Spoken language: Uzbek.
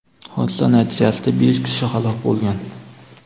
Hodisa natijasida besh kishi halok bo‘lgan.